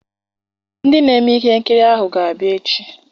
Ndị na-eme ihe nkiri ahụ ga-abịa echi.